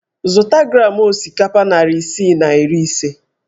Zụta gram osikapa narị isii na iri ise!